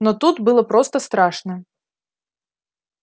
но тут было просто страшно